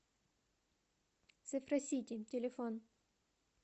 цифросити телефон